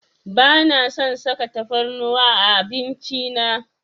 Bana son saka tafarnuwa a abinci na.